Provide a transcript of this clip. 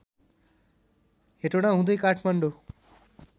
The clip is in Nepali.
हेटौडा हुँदै काठमाडौँ